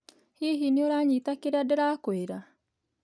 Hihi nĩũranyita kĩrĩa ndĩrakwĩra